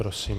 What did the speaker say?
Prosím.